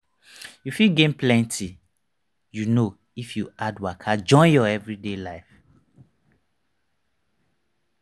you fit gain plenty you know if you add waka join your everyday lifestyle.